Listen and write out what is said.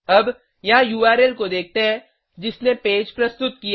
अब यहाँ उर्ल को देखते हैं जिसने पेज प्रस्तुत किया